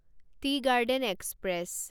T garden express